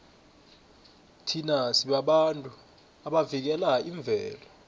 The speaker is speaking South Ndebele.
thina sibabantu abavikela imvelo